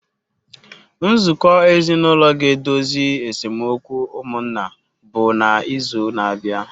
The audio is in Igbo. Nzukọ ezinụlọ ga-edozi esemokwu ụmụnna bụ n’izu na-abịa.